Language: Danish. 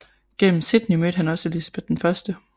Gennem Sidney mødte han også Elizabeth I